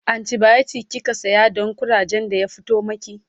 antibiotic kika saya Dan kurajen da ya fito maki?